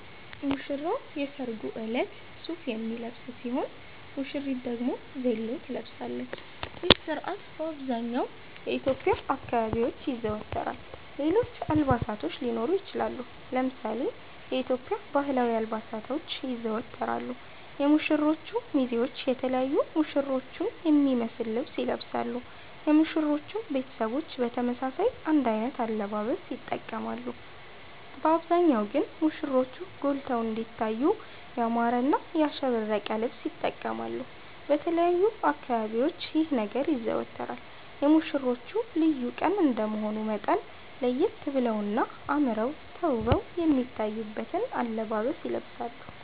ሙሽራዉ የሰርጉ እለት ሱፍ የሚለብስ ሲሆን ሙሽሪት ደግሞ ቬሎ ትለብሳለች ይህ ስርአት በአብዘሃኛዉ የኢትዮዽያ አካባቢዎች ይዘወተራል ሌሎች አልባሳቶች ሊኖሩ ይችላሉ። ለምሳሌ የኢትዮዽያ ባህላዊ አልባሳቶች ይዘወተራሉ የሙሽሮቹ ሚዜዎች የተለያዩ ሙሽሮቹን የሚመሰል ልብስ ይለብሳሉ የሙሽሮቹም ቤተሰቦች በተመሳሳይ አንድ አይነት አለባበስ ይተቀማሉ በአብዛሃኛዉ ግን ሙሽሮቹ ጎልተዉ እንዲታዩ ያማረና ያሸበረቀ ልብስ ይተቀማሉ። በተለያዩ አካባቢዎች ይህ ነገር ይዘወተራል የሙሽሮቹ ልዩ ቀን እንደመሆኑ መጠን ለየት በለዉና አመረዉ ተዉበዉ የሚታዩበትን አለባበስ ይለብሳሉ